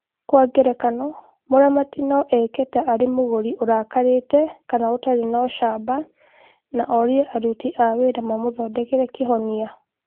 Kwa ngerekano, mũramati no eke ta arĩ mũgũri ũrakarĩte kana ũtarĩ na ũcamba, na orie aruti a wĩra mamũthondekere kĩhonia.